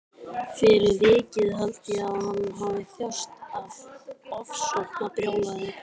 Fyrir vikið held ég að hann hafi þjáðst af ofsóknarbrjálæði.